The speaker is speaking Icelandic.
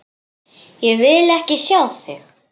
Ég vil ekki sjá þig!